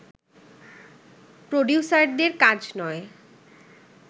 প্রডিউসারদের কাজ নয়